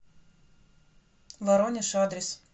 воронеж адрес